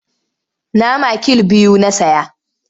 Nama kill biyu na saya.